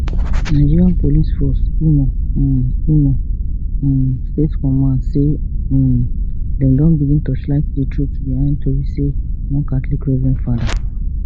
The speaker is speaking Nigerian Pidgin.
nigeria police force imo um imo um state command say um dem don begin torchlight di truth behind tori say one catholic reverend fada